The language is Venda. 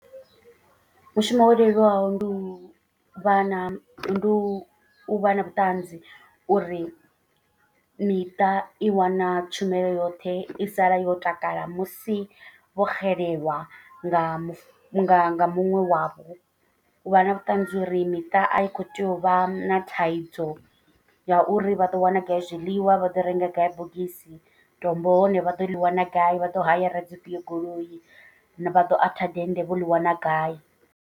Mushumo wo leluwaho ndi u vha na ndi u vha na vhuṱanzi. Uri miṱa i wana tshumelo yoṱhe i sala yo takala musi vho xelelwa nga nga nga muṅwe wavho. Vha na vhuṱanzi uri miṱa a i kho tea u vha na thaidzo ya uri vha ḓo wana gai zwiḽiwa vha ḓo renga gai bogisi. Tombo hone vha ḓo ḽi wana gai vha ḓo hayara dzifhio goloi vha ḓo atha dennde vho ḽi wana gai.